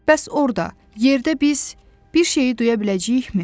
Bəs orda, yerdə biz bir şeyi duya biləcəyikmi?